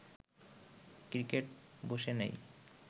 cricket বসে নেই